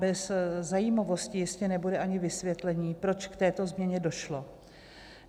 Bez zajímavosti jistě nebude ani vysvětlení, proč k této změně došlo.